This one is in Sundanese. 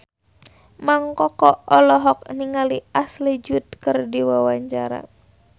Mang Koko olohok ningali Ashley Judd keur diwawancara